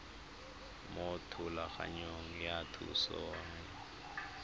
mo thulaganyong ya thuso y